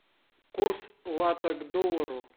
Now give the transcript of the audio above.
курс лата к доллару